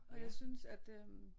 Og jeg synes at øh